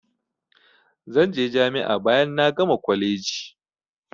Zan je jami'a bayan na gama kwaleji.